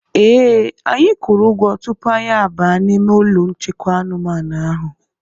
Ee, anyị kwuru ụgwọ tupu anyị abaa n'ime ụlọ nchekwa anumanu ahụ.